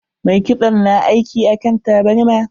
Mai kitson na aiki akan tabarma.